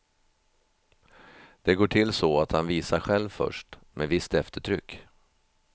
Det går till så att han visar själv först, med visst eftertryck.